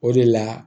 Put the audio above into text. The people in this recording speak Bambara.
O de la